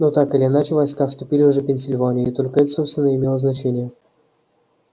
но так или иначе войска вступили уже в пенсильванию и только это собственно и имело значение